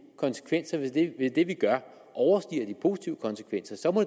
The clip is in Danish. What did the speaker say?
konsekvenser ved det vi gør overstiger de positive konsekvenser må